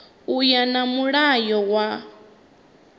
u ya nga mulayo wa